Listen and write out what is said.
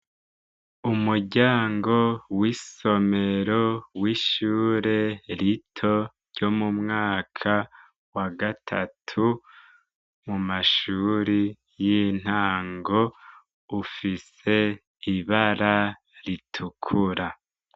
Umuryango w'isomero w'ishure rito ryo mu mwaka wa gatatu, mu mashuri y'intango, ufise ibara ritukura.